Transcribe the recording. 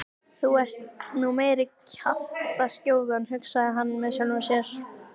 Þú ert nú meiri kjaftaskjóðan hugsaði hann með sjálfum sér.